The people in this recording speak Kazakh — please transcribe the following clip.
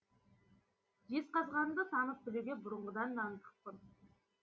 жезқазғанды танып білуге бұрынғыдан да ынтықпын